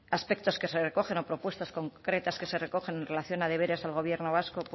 aspectos que se recogen o propuestas concretas que se recogen en relación a deberes del gobierno vasco